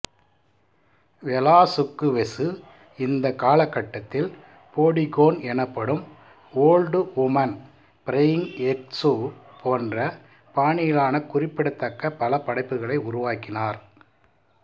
Velazquez இந்த காலகட்டத்தில் போடிகோன் எனப்படும் ஓல்டு வுமன் பிரையிங் எக்சு போன்ற பானியிலான குறிப்பிடத்தக்க பல படைப்புகளை உருவாக்கினார்